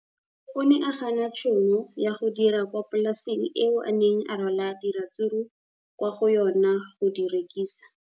O ne a gana tšhono ya go dira kwa polaseng eo a neng a rwala diratsuru kwa go yona go di rekisa.